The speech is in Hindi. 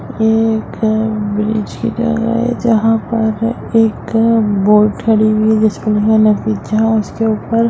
ये एक ब्रिज की जगह है जहा पर एक बोट खड़ी हुई है जिसके जहा उसके ऊपर--